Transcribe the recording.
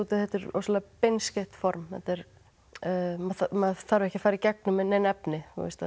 að þetta er rosalega beinskeytt formaður maður þarf ekki að fara í gegnum nein efni